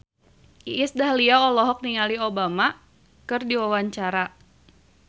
Iis Dahlia olohok ningali Obama keur diwawancara